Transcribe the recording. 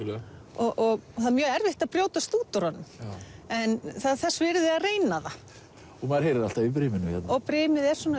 og það er mjög erfitt að brjótast út úr honum en þess virði að reyna það maður heyrir alltaf í briminu hérna brimið er svona